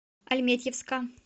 альметьевска